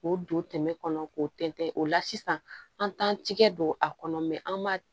K'o don tɛmɛ kɔnɔ k'o tɛntɛn o la sisan an t'an tigɛ don a kɔnɔ an b'a